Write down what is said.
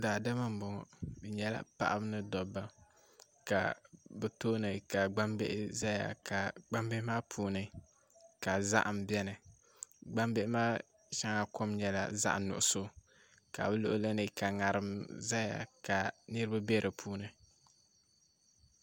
Daadama n bɔŋɔ bi nyɛla paɣaba ni dabba bi tooni ka gbambihi ʒɛya ka gbambihi maa puuni ka zaham biɛni gbambihi maa shɛŋa kom nyɛla zaɣ nuɣso ka bi luɣuli ni ka ŋarim ʒɛya ka niraba bɛ di puuni